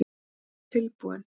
Hún var tilbúin.